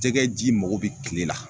Jɛgɛ ji mago be kile la